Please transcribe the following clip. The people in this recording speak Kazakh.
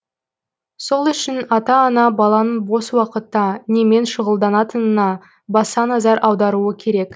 сол үшін ата ана баланың бос уақытта немен шұғылданатынына баса назар аударуы керек